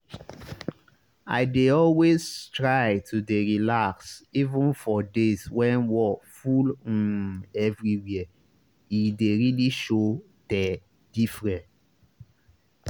i dey always try to dey relax even for days when wor full um everywhere e dey really show teh diffre